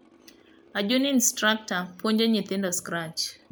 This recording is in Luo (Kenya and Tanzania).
A Juni Instructor puonjo nyithindo. Scratch.